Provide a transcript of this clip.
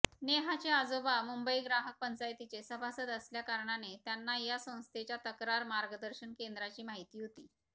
नेहाचे आजोबा मुंबई ग्राहक पंचायतीचे सभासद असल्याकारणाने त्यांना या संस्थेच्या तक्रार मार्गदर्शन केंद्राची माहिती होती